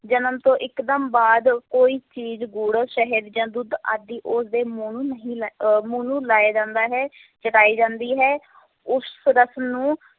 ਜਨਮ ਤੋਂ ਇੱਕਦਮ ਬਾਅਦ ਕੋਈ ਚੀਜ਼ ਗੁੜ, ਸ਼ਹਿਦ ਜਾਂ ਦੁੱਧ ਆਦਿ ਉਸਦੇ ਮੂੰਹ ਨੂੰ ਨਹੀਂ ਲਾ ਅਹ ਮੂੰਹ ਨੂੰ ਲਾਇਆ ਜਾਂਦਾ ਹੈ ਤੇ ਜਾਂਦੀ ਹੈ ਉਸ ਰਸਮ ਨੂੰ